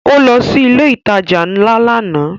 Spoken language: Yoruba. Ó lọ sí ilé ìtajà ńlá lánàá